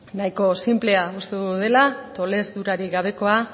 nahiko sinplea uste dugu dela tolesturarik gabekoa